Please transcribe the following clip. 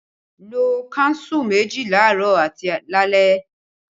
Lo kánsù méjì laarọ àti lálẹ́!